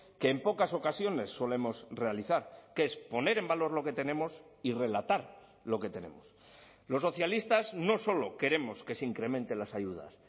que en pocas ocasiones solemos realizar que es poner en valor lo que tenemos y relatar lo que tenemos los socialistas no solo queremos que se incrementen las ayudas